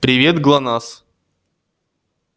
привет глонассс